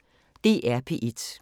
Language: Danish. DR P1